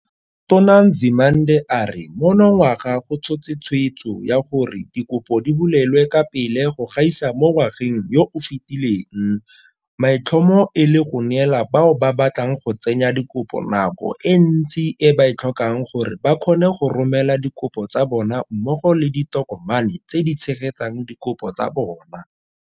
Tona Nzimande a re monongwaga go tshotse tshweetso ya gore dikopo di bulelwe ka pele go gaisa mo ngwageng yo o fetileng, maitlhomo e le go neela bao ba batlang go tsenya dikopo nako e ntsi e ba e tlhokang gore ba kgone go romela dikopo tsa bona mmogo le ditokomane tse di tshegetsang dikopo tsa bona.